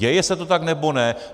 Děje se to tak, nebo ne?